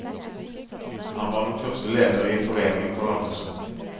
Han var den første leder i foreningen for landbruksrett.